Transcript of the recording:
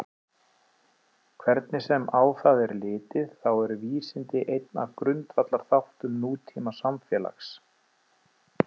Hvernig sem á það er litið þá eru vísindi einn af grundvallarþáttum nútímasamfélags.